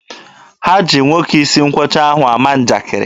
Ha jiri nwoke isi nkwọcha ahụ na-ama njakiri.